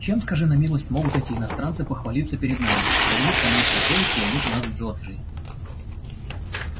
чем скажи на милость могут эти иностранцы похвалиться перед нами что у них там есть такое чего нет у нас в джорджии